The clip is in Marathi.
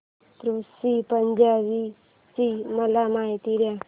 ऋषी पंचमी ची मला माहिती दे